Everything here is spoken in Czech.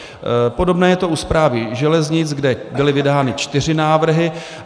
Podobné je to u Správy železnic, kde byly vydány čtyři návrhy.